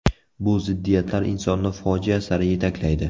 Bu ziddiyatlar insonni fojia sari yetaklaydi.